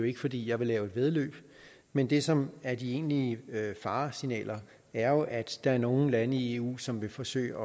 ikke fordi jeg vil lave et væddeløb men det som er de egentlige faresignaler er at der er nogle lande i eu som vil forsøge